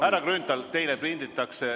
Härra Grünthal!